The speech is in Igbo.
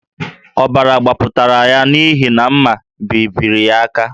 Ọbara gbapụtara ya n’ihi mma bebiri ya aka